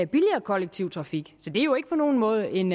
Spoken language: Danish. billigere kollektiv trafik så det er jo ikke på nogen måde en